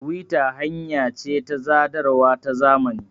tiwita hanya ce ta sadarwa ta zamani